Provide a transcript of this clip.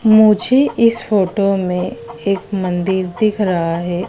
मुझे इस फोटो में एक मंदिर दिख रहा है।